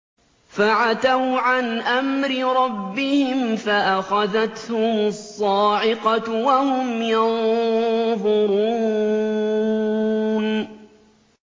فَعَتَوْا عَنْ أَمْرِ رَبِّهِمْ فَأَخَذَتْهُمُ الصَّاعِقَةُ وَهُمْ يَنظُرُونَ